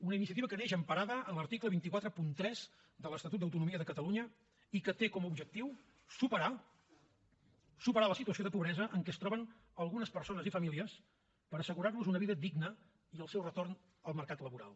una iniciativa que neix emparada en l’article dos cents i quaranta tres de l’estatut d’autonomia de catalunya i que té com a objectiu superar la situació de pobresa en que es troben algunes persones i famílies per assegurar los una vida digna i el seu retorn al mercat laboral